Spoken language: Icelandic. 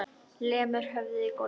Lemur höfðinu í gólfið.